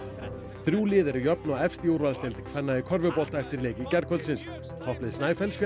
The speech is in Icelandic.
þrjú lið eru jöfn og efst í úrvalsdeild kvenna í körfubolta eftir leiki gærkvöldsins topplið Snæfells fékk